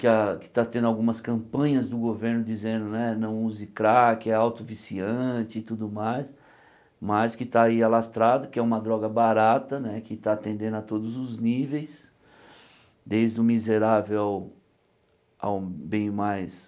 que a que está tendo algumas campanhas do governo dizendo, né, não use crack, é auto-viciante e tudo mais, mas que tá aí alastrado, que é uma droga barata, né, que tá atendendo a todos os níveis, desde o miserável ao ao bem mais...